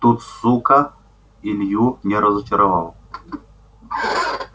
тут сука илью не разочаровал